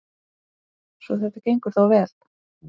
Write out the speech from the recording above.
Svo þetta gengur þá vel?